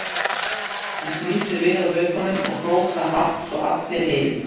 Hann snýr sér við á hlaupunum og hrópar hátt svo að allir heyri